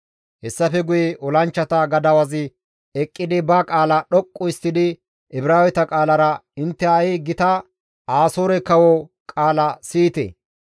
Hessafe guye olanchchata gadawazi eqqidi ba qaala dhoqqu histtidi Ibraaweta qaalara, «Intte ha7i gita Asoore kawo qaala siyite!